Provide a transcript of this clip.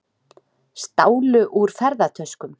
Stálu úr ferðatöskum